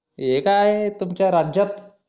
हे काय आहे तुमच्या राज्यात